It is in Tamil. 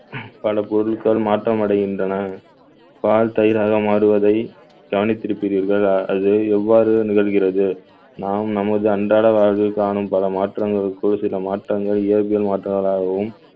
பல பொருட்கள் மாற்றமடைகின்றன. பால் தயிராக மாறுவதை கவனித்திருக்கிறீர்கள் அது எவ்வாறு நிகழ்கிறது நாம் நமது அன்றாட வாழ்வில் காணும் பல மாற்றங்களுக்குள் சில மாற்றங்கள் இயற்பியல் மாற்றங்களாகவும்